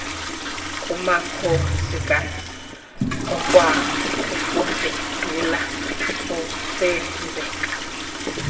kumakhosikazi okwakufudula kusenzeka